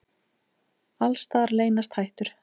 Alls staðar leynast hættur.